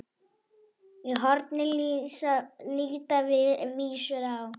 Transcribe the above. Í horni líta vísur má.